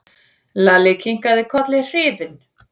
Lalli kinkaði kolli hrifinn.